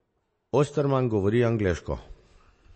Osterman govori angleško.